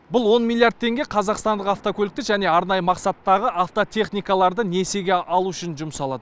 бұл он миллиард теңге қазақстандық автокөлікті және арнайы мақсаттағы автотехникаларды несиеге алу үшін жұмсалады